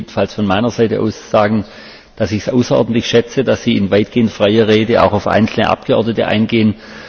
Ich will jedenfalls von meiner Seite aus sagen, dass ich es außerordentlich schätze, dass Sie in weitgehend freier Rede auch auf einzelne Abgeordnete eingehen.